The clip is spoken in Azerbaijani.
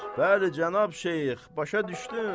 Bəli, cənab Şeyx, başa düşdün?